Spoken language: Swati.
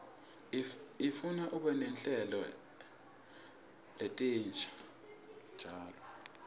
ifuna ube netinhlelo letinsha njalo